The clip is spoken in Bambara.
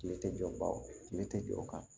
Kile tɛ jɔ bawo kile tɛ jɔ o kan